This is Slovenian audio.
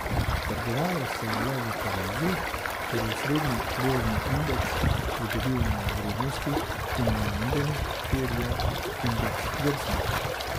Trgovalo se je le v Parizu, kjer je osrednji borzni indeks pridobil na vrednosti, in v Londonu, kjer je indeks zdrsnil.